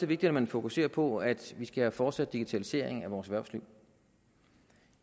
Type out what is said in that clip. vigtigt at man fokuserer på at vi skal fortsætte digitaliseringen af vores erhvervsliv